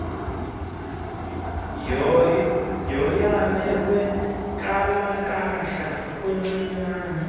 yoyame kwinkalakahla luncinane